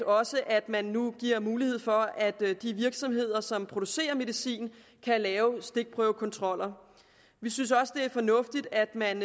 også at man nu giver mulighed for at de virksomheder som producerer medicin kan lave stikprøvekontroller vi synes også det er fornuftigt at man